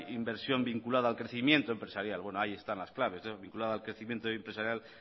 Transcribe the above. inversión vinculada al crecimiento empresarial bueno ahí están las claves vinculada al crecimiento empresarial